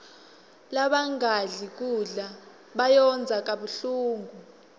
labangadli kudla bayondza kabuhlungu